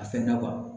A fɛnna kuwa